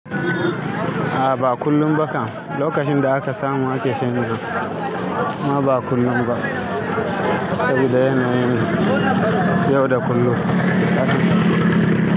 A ba kullum ba kam, lokacin da aka samu ake chanji, amma ba kullum ba saboda yana yin yau da kullum.